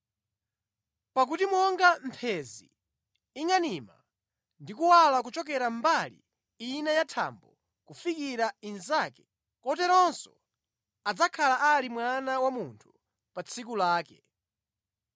Pakuti monga mphenzi ingʼanima ndi kuwala kuchokera mbali ina ya thambo kufikira inzake, koteronso adzakhala ali Mwana wa Munthu pa tsiku lake.